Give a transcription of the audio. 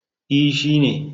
E, shi ne.